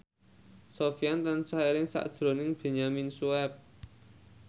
Sofyan tansah eling sakjroning Benyamin Sueb